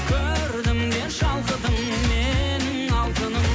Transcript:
көрдім де шалқыдым менің алтыным